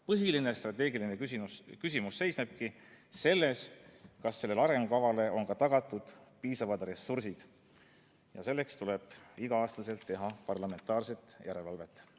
Põhiline strateegiline küsimus seisnebki selles, kas sellele arengukavale on tagatud piisavad ressursid, ja selleks tuleb iga aasta teha parlamentaarset järelevalvet.